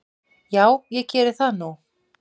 Já ég geri það nú.